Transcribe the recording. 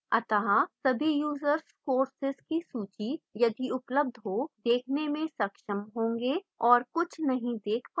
अतः सभी users courses की सूची यदि उपलब्ध हो देखने में सक्षम होंगे और कुछ नहीं देख पायेंगे